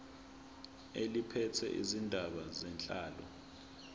eliphethe izindaba zenhlalo